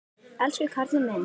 Elsku karlinn minn.